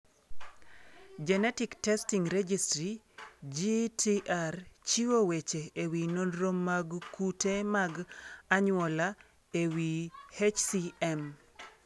Genetic Testing Registry (GTR) chiwo weche e wi nonro mag kute mag anyuola e wi HCM.